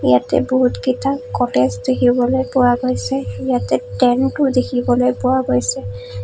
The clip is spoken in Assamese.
ইয়াতে বহুতকেইটা ক'টেজ দেখিবলৈ পোৱা গৈছে ইয়াতে টেণ্টো দেখিবলৈ পোৱা গৈছে।